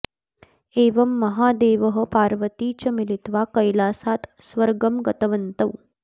एवं महादेवः पार्वती च मिलित्वा कैलासात् स्वर्गम् गतवन्तौ